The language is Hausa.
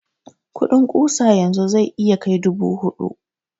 kudin ƙusa yanzu zai iya kai dubu hudu